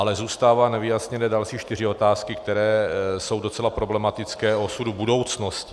Ale zůstávají nevyjasněné další čtyři otázky, které jsou docela problematické, o osudu budoucnosti.